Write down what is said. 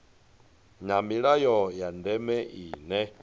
na milayo ya ndeme ine